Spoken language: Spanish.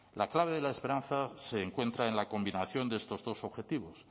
la clave de la esperanza se encuentra en la combinación de estos dos objetivos